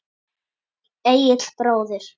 Egill bróðir.